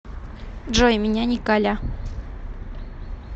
джой меня николя